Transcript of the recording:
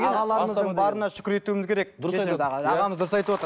ағаларымыздың барына шүкір етуіміз керек ағамыз дұрыс айтып отыр